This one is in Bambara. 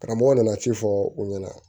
Karamɔgɔ nana ci fɔ u ɲɛna